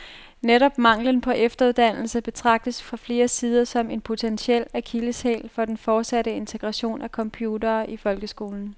Netop manglen på efteruddannelse betragtes fra flere sider som en potentiel akilleshæl for den fortsatte integration af computere i folkeskolen.